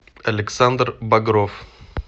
александр багров